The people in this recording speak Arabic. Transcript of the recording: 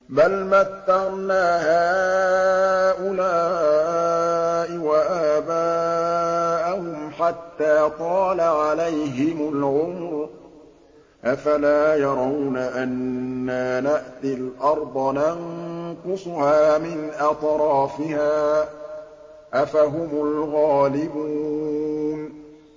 بَلْ مَتَّعْنَا هَٰؤُلَاءِ وَآبَاءَهُمْ حَتَّىٰ طَالَ عَلَيْهِمُ الْعُمُرُ ۗ أَفَلَا يَرَوْنَ أَنَّا نَأْتِي الْأَرْضَ نَنقُصُهَا مِنْ أَطْرَافِهَا ۚ أَفَهُمُ الْغَالِبُونَ